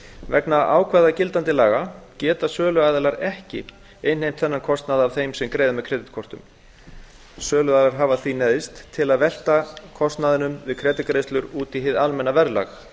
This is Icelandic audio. vegna ákvæða gildandi laga geta söluaðilar ekki innheimt þennan kostnað af þeim sem greiða með kreditkortum söluaðilar hafa því neyðst til að velta kostnaði við kreditgreiðslur út í hið almenna verðlag